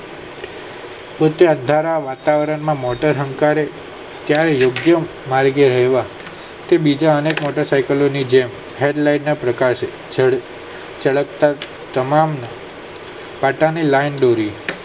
ખૂટ્યા ધરા વાતાવર માંમોટર હંકારી ચાહેયોગ્ય માર્ગ થી બીજા અનેક લોકો સાયકલો ની જેમ head line ના ભૂખ છે તમામ પાટા ની લાઈન દોરી